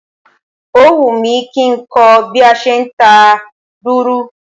Ó wùmí kí nkó bí a se nta dùrù